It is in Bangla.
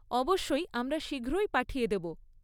অবশ্যই, আমরা শীঘ্রই পাঠিয়ে দেব।